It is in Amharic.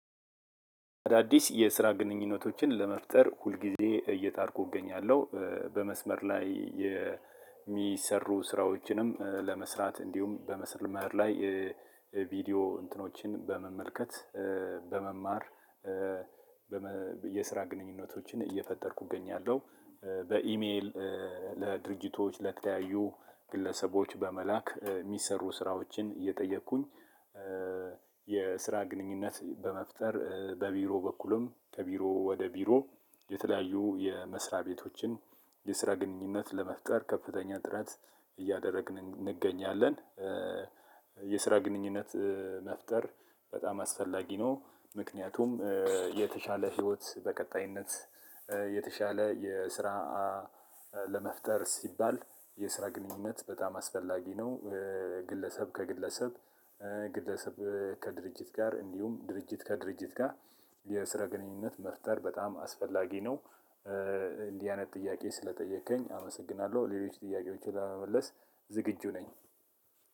አዳዲስ የስራ ግንኙነቶችን ለመፍጠር ሁልጊዜ እየጣርኩ እገኛለሁ በመስመር ላይ የሚሰሩ ስራዎችንም ለመስራት እንዲሁም በመስመር ላይ ቪዲወ እንትኖችን በመመልከት በመማር የስራ ግንኙነቶችን እየፈጠርኩ እገኛለሁ። በኢሜል ለድርጅቶች ለተለያዩ ግለሰቦች በመላክ የሚሰሩ ስራዎችን እየጠየኩኝ። የስራ ግንኙነት በመፍጠር በቢሮ በኩልም ከቢሮ ወደ ቢሮ የተለያዩ የመስሪያ ቤቶችን የስራ ግንኙነት ለመፍጠር ከፍተኛ ጥረት እያደረግን እንገኛለን። የስራ ግንኙነት መፍጠር በጣም አስፈላጊ ነው። ምክንያቱም የተሻለ ህይወት በቀጣይነት የተሻለ የስራ ለመፍጠር ሲባል የስራ ግንኙነት በጣም አስፈላጊ ነው። ግለሰብ ከግለሰብ ግለሰብ ከድርጅት ጋር እንዲሁም ድርጅት ከድርጅት ጋር የስራ ግንኙነት መፍጠር በጣም አስፈላጊ ነው። እንዲህ አይነት ጥያቄ ስለጠየከኝ አመሰግናለሁ ሌሎች ጥያቄዎችን ለመመለስ ዝግጁ ነኝ።